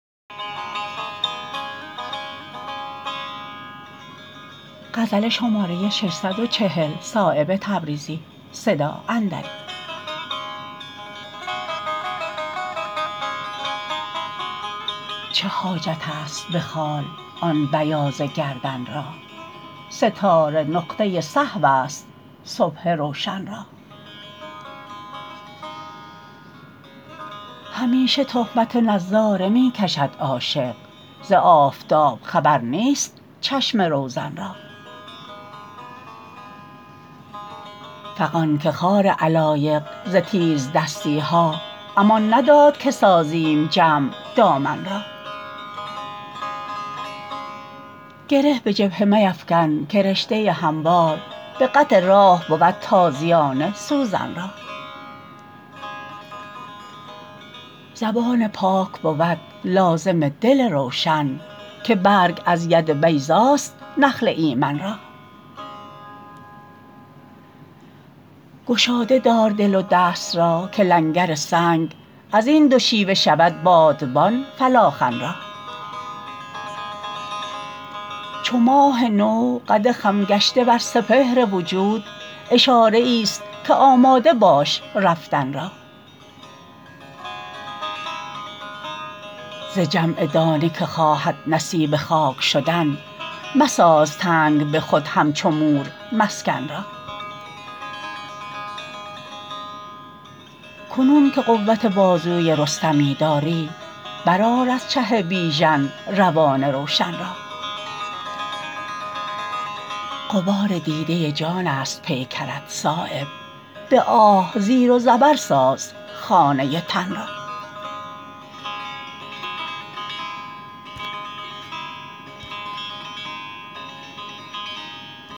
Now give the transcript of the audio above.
چه حاجت است به خال آن بیاض گردن را ستاره نقطه سهوست صبح روشن را همیشه تهمت نظاره می کشد عاشق ز آفتاب خبر نیست چشم روزن را فغان که خار علایق ز تیزدستی ها امان نداد که سازیم جمع دامن را گره به جبهه میفکن که رشته هموار به قطع راه بود تازیانه سوزن را زبان پاک بود لازم دل روشن که برگ از ید بیضاست نخل ایمن را گشاده دار دل و دست را که لنگر سنگ ازین دو شیوه شود بادبان فلاخن را چو ماه نو قد خم گشته بر سپهر وجود اشاره ای است که آماده باش رفتن را ز جمع دانه که خواهد نصیب خاک شدن مساز تنگ به خود همچو مور مسکن را کنون که قوت بازوی رستمی داری برآر از چه بیژن روان روشن را غبار دیده جان است پیکرت صایب به آه زیر و زبر ساز خانه تن را